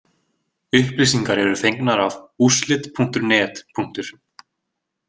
Upplýsingar eru fengnar af úrslit.net.